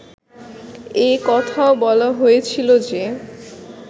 এ কথাও বলা হয়েছিল যে